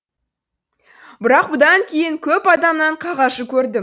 бірақ бұдан кейін көп адамнан қағажу көрдім